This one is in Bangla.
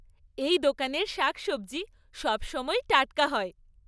এই দোকানের শাকসবজি সবসময়ই টাটকা হয়!